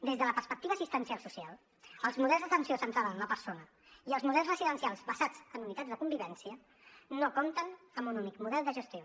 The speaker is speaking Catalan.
des de la perspectiva assistencial social els models d’atenció centrada en la persona i els models residencials basats en unitats de convivència no compten amb un únic model de gestió